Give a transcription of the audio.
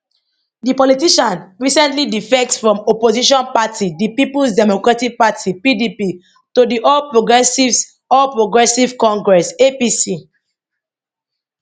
di politician recently defect from opposition party di peoples democratic party pdp to di all progressives all progressives congress apc